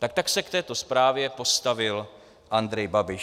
Tak tak se k této zprávě postavil Andrej Babiš.